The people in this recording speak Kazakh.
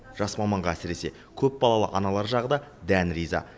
жас маманға әсіресе көпбалалы аналар жағы да дән риза